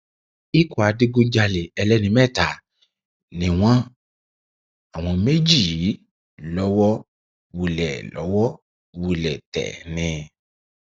ikọ adigunjalè ẹlẹni mẹta ni wọn àwọn méjì yìí lọwọ wulẹ lọwọ wulẹ tẹ ni